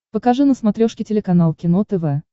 покажи на смотрешке телеканал кино тв